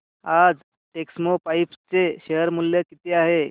आज टेक्स्मोपाइप्स चे शेअर मूल्य किती आहे